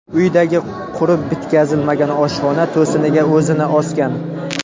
uyidagi qurib bitkazilmagan oshxona to‘siniga o‘zini osgan.